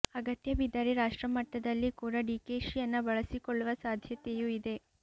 ಅಗತ್ಯ ಬಿದ್ದರೆ ರಾಷ್ಟ್ರ ಮಟ್ಟದಲ್ಲಿ ಕೂಡ ಡಿಕೆಶಿಯನ್ನ ಬಳಸಿಕೊಳ್ಳುವ ಸಾಧ್ಯತೆಯೂ ಇದೆ